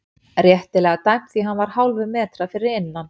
Réttilega dæmt því hann var hálfum metra fyrir innan.